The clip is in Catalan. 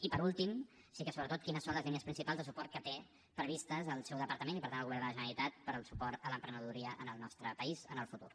i per últim sí que sobretot quines són les línies principals de suport que té previstes el seu departament i per tant el govern de la generalitat per al suport a l’emprenedoria en el nostre país en el futur